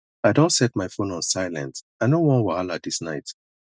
i don set my phone on silent i no want wahala this night